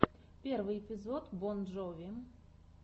первый эпизод бон джови